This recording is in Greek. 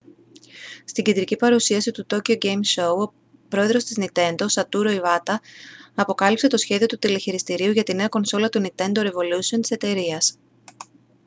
στην κεντρική παρουσίαση του tokyo game show ο πρόεδρος της nintendo satoru iwata αποκάλυψε το σχέδιο του τηλεχειριστηρίου για τη νέα κονσόλα του nintendo revolution της εταιρείας